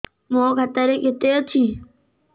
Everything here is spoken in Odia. ମୋ ଖାତା ରେ କେତେ ଅଛି